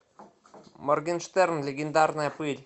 моргенштерн легендарная пыль